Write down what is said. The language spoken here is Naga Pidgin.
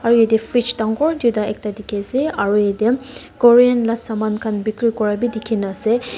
Aro yateh fridge dangor duida ekta dekhe ase aro yatheh Korean la saman khan bekhere kura bhi dekhena ase--